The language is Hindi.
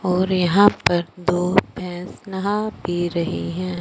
और यहां पर दो फैंस नहा भी रहे हैं।